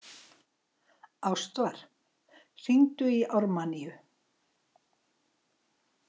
Ástvar, hringdu í Ármanníu.